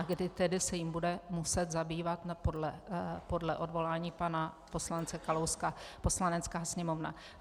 A kdy tedy se jí bude muset zabývat podle odvolání pana poslance Kalouska Poslanecká sněmovna.